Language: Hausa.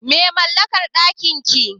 Me lambar ɗakin ki?